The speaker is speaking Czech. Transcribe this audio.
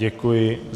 Děkuji.